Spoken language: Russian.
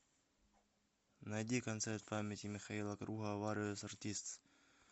найди концерт памяти михаила круга вариос артистс